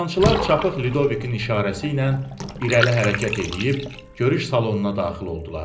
Nişançılar çapıq Lidovikin işarəsi ilə irəli hərəkət eləyib görüş salonuna daxil oldular.